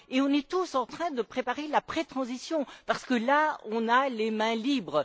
on est tous en train de préparer l'après transition parce que, là, on a les mains libres.